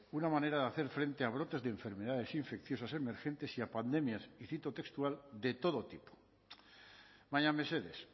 una manera de hacer frente a brotes de enfermedades infecciosas emergentes y a pandemias y cito textual de todo tipo baina mesedez